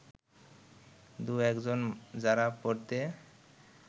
দু’একজন যারা পরতে